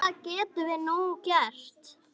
Hvað getum við nú gert?